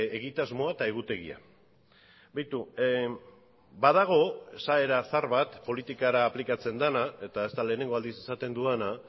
egitasmoa eta egutegia beitu badago esaera zahar bat politikara aplikatzen dena eta ez da lehenengo aldiz esaten dudana